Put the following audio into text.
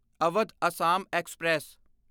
Awadh Assam express